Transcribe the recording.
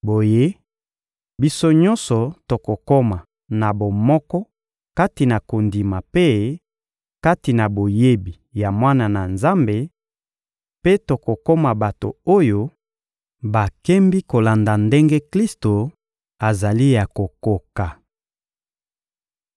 Boye, biso nyonso tokokoma na bomoko kati na kondima mpe kati na boyebi ya Mwana na Nzambe, mpe tokokoma bato oyo bakembi kolanda ndenge Klisto azali ya kokoka.